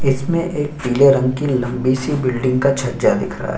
इसमें एक पिले रंग की लम्बी सी बिल्डिंग का छज्जा दिख रहा है।